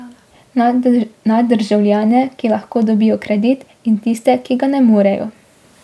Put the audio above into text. Na državljane, ki lahko dobijo kredit, in tiste, ki ga ne morejo.